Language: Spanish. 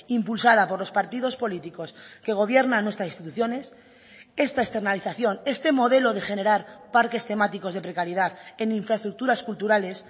impulsada por los partidos políticos que gobiernan nuestras instituciones esta externalización este modelo de generar parques temáticos de precariedad en infraestructuras culturales